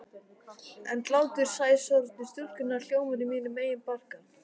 En hlátur sæsorfnu stúlkunnar hljómar í mínum eigin barka.